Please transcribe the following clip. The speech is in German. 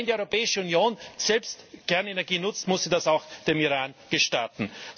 Aber wenn die Europäische Union selbst Kernenergie nutzt, muss sie das auch dem Iran gestatten.